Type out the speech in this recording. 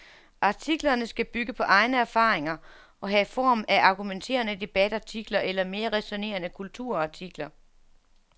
Artiklerne skal bygge på egne erfaringer og have form af argumenterende debatartikler eller mere ræsonnerende kulturartikler.